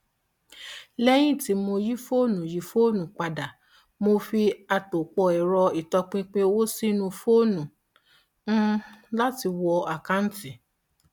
lẹyìn tí mo yí fóònù yí fóònù padà mo fi àtòpọ ẹrọ ìtọpinpin owó sínú fóònù um láti wọ àkanti